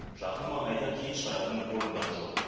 жақын маңайда кен шығаратын орындар жоқ